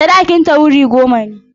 Sadakinta wuri goma ne.